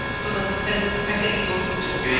содан сәл қателік болып жатыр иә